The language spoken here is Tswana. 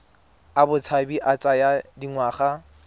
a botshabi a tsaya dingwaga